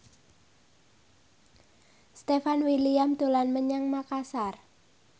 Stefan William dolan menyang Makasar